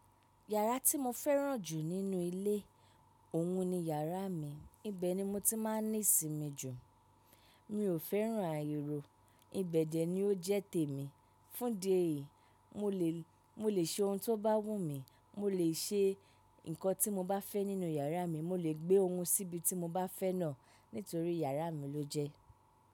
Yàrá tí mo fẹ́ràn jù nínú ilé, òhun ni iyàrá mi. Ibẹ̀ ni mo ti máa ń ní ìsinmi jù. Mi ò fẹ́ràn àyẹ̀rọ̀, ìbẹ̀ dẹ ni ó jẹ́ tèmi. Fún idi ẹ̀yí, mo le, mo le ṣe ohun tó bá wù mí, mo le ṣe nǹkan tí mo bá fẹ́ nínú iyàrá mi, mo lè gbé ohun síbi tí mo bá fẹ́ náà nítorí iyàrá mi ló jẹ́.